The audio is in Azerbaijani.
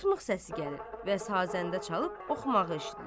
Çıtmaq səsi gəlir və sazəndə çalıb oxumağı eşidilir.